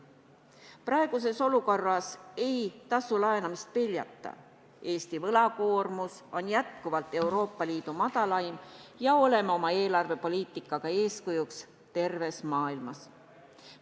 Praeguses olukorras ei tasu laenamist peljata, Eesti võlakoormus on jätkuvalt Euroopa Liidu madalaim ja oleme oma eelarvepoliitikaga eeskujuks terves maailmas.